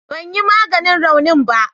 Ban yi maganin raunin ba